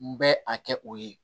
N bɛ a kɛ o ye